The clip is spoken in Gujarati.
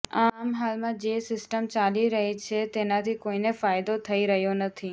આમ હાલમાં જે સિસ્ટમ ચાલી રહી છે તેનાથી કોઈને ફાયદો થઈ રહ્યો નથી